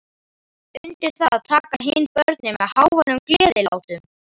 Undir það taka hin börnin með háværum gleðilátum.